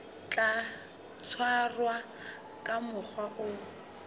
tla tshwarwa ka mokgwa o